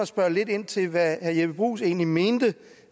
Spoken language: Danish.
spørge lidt ind til hvad herre jeppe bruus egentlig mener